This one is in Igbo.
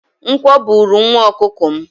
Nkwọ buru nwa ọkụkọ m.